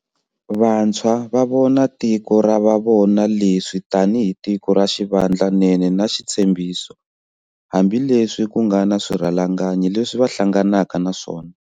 Vantshwa va vona tiko ra va vona leswi tanihi tiko ra xivandla nene na xitshembiso, hambileswi ku nga na swirhalanganyi leswi va hlanganaka na swona.